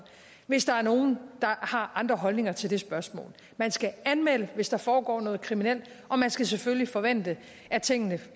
hvis der er nogen der har andre holdninger til det spørgsmål man skal anmelde det hvis der foregår noget kriminelt og man skal selvfølgelig forvente at tingene